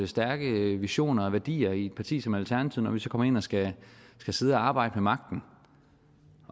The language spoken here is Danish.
stærke visioner og værdier i et parti som alternativet når vi så kommer ind og skal sidde og arbejde ved magten